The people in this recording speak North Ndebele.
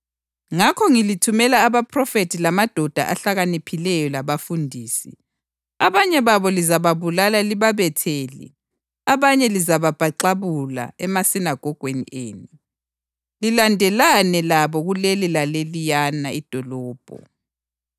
Ngakho ngilithumela abaphrofethi lamadoda ahlakaniphileyo labafundisi. Abanye babo lizababulala libabethele; abanye lizababhaxabula emasinagogweni enu, lilandelelane labo kuleli laleliyana idolobho.